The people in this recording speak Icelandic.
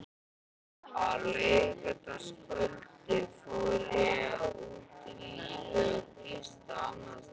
Á laugardagskvöldið fór ég út á lífið og gisti annarsstaðar.